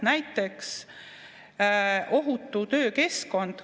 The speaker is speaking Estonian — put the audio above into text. Näiteks ohutu töökeskkond.